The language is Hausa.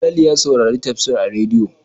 Falalu ya sauri tafsiri a rediyo.